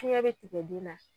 Fiɲɛ be tigɛ den na